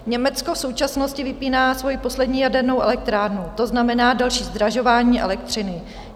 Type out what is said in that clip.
Německo v současnosti vypíná svoji poslední jadernou elektrárnu, to znamená další zdražování elektřiny.